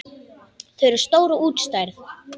Þau eru stór og útstæð.